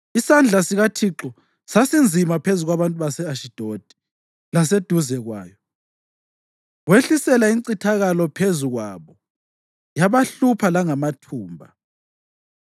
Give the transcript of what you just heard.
Isandla sikaThixo sasinzima phezu kwabantu base-Ashidodi laseduze kwayo; wehlisela incithakalo phezu kwabo yabahlupha langamathumba.